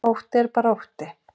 Ótti er bara ótti